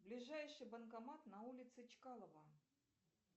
ближайший банкомат на улице чкалова